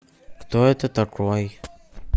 кто это такой